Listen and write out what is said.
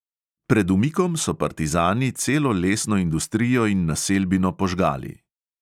Pred umikom so partizani celo lesno industrijo in naselbino požgali.